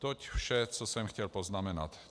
Toť vše, co jsem chtěl poznamenat.